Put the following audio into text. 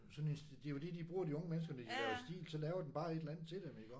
Sådan en det er jo det de bruger de unge mennesker når laver stil så laver den bare et eller andet til dem iggå